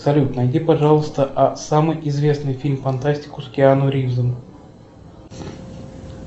салют найди пожалуйста самый известный фильм фантастику с киану ривзом